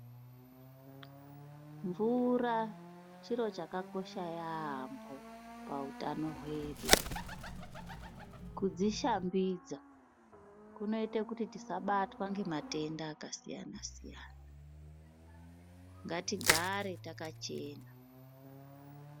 Mvura chiro chakakosha yaambo pahutano hwedu. Kudzishambidza kunoita kuti tisabatwa ngematenda yakasiyana siyana, ngatigare takachena.